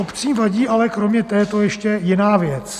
Obcím vadí ale kromě této ještě jiná věc.